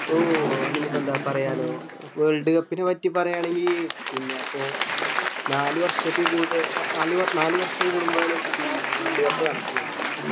ഓഹ് അതിനിപ്പോ ന്താ പറയാല്ലോ world cup നെ പറ്റി പറയു ആണെങ്കി പിന്നെ അപ്പൊ നാല് വര്ഷത്തി കൂടുത ആഹ് ആഹ് നാൽ നാല് വര്‍ഷം കൂടുമ്പോഴാണ് പിന്നെ world cup നടക്കന്നത്